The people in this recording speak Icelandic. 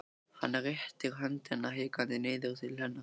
Hann réttir höndina hikandi niður til hennar.